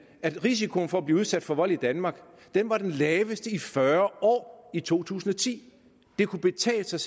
at risikoen for at blive udsat for vold i danmark var den laveste i fyrre år i to tusind og ti det kunne betale sig